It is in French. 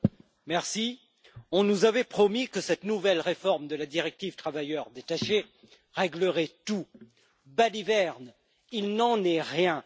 Monsieur le Président, on nous avait promis que cette nouvelle réforme de la directive sur les travailleurs détachés réglerait tout. Balivernes, il n'en est rien!